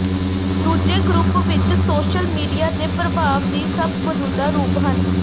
ਦੂਜੇ ਗਰੁੱਪ ਵਿਚ social media ਦੇ ਪ੍ਰਭਾਵ ਦੀ ਸਭ ਮੌਜੂਦਾ ਰੂਪ ਹਨ